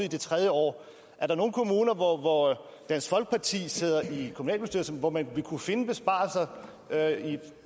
det tredje år er der nogen kommuner hvor hvor dansk folkeparti sidder i kommunalbestyrelsen hvor man vil kunne finde besparelser